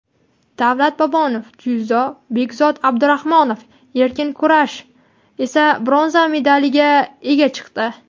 Davlat Bobonov (dzyudo) va Bekzod Abdurahmonov (erkin kurash) esa bronza medaliga ega chiqdi.